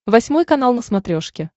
восьмой канал на смотрешке